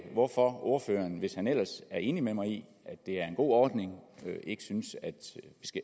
hvorfor ordføreren hvis han ellers er enig med mig i at det er en god ordning ikke synes